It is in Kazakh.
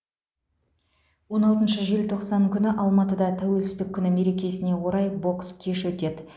он алтыншы желтоқсан күні алматыда тәуелсіздік күні мерекесіне орай бокс кеші өтеді